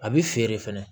A bi feere fɛnɛ